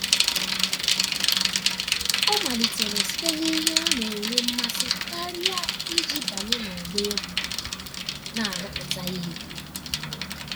ọ malitere site n'ihe ọ na-enwe mmasị karịa iji banye n'ọgbọ egwu na-arụpụta ihe.